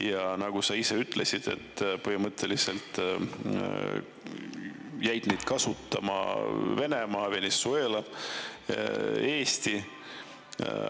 Ja nagu sa ise ütlesid, põhimõtteliselt jäid neid kasutama Venemaa, Venezuela ja Eesti.